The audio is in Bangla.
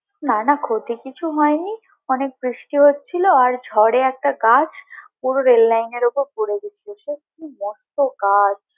না না ক্ষতি কিছু হয়নি অনেক বৃষ্টি হচ্ছিলো আর ঝরে একটা গাছ পুরো rail line এর উপর পরে গিয়েছিলো সত্যি মস্ত গাছ!